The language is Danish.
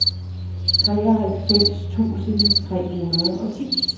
treoghalvfems tusind tre hundrede og ti